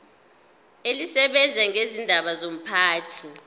elisebenza ngezindaba zomphakathi